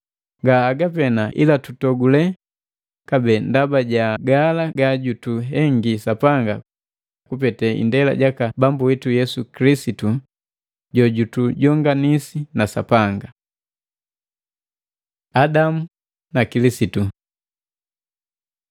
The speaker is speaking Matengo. Nga haga pena ila tutogule kabee ndaba jagala gajutuhengi Sapanga kupete indela jaka Bambu witu Yesu Kilisitu jojutujonganisi na Sapanga. Adamu na Kilisitu